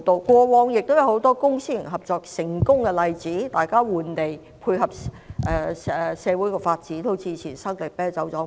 過往也有很多公私營合作的成功例子，大家換地配合社會發展，例如搬遷生力啤酒廠。